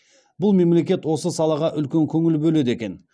бұл мемлекет осы салаға үлкен көңіл бөледі екен